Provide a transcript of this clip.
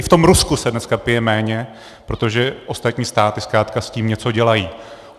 I v tom Rusku se dneska pije méně, protože ostatní státy zkrátka s tím něco dělají.